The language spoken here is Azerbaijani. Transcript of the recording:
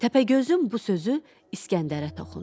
Təpəgözün bu sözü İskəndərə toxundu.